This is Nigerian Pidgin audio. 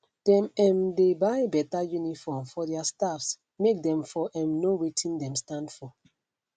dem um dey buy better uniform for their staffs make them for um know watin them stand for